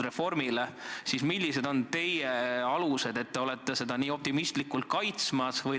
Mis alusele toetudes te seda nii optimistlikult kaitsete?